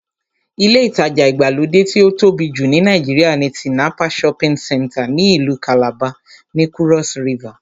Ilé ìtajà ìgbàlódé tí ó tóbi jù ní Nàìjíríà ni Tinapa shopping center ní ìlú kàlàba, ní kúrọ́s rivà